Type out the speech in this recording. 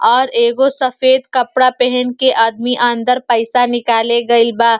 और एगो सफ़ेद कपड़ा पहिन के आदमी अंदर पइसा निकले गइल बा।